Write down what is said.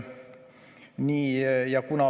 Nii.